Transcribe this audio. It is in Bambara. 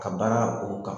Ka baara o kan